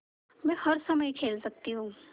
मै हर समय खेल सकती हूँ